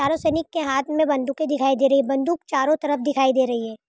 चारों सैनिक के हाथ मे बंदुके दिखाई दे रही है बंदूक चारों तरफ दिखाई दे रही है।